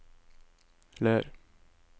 Ler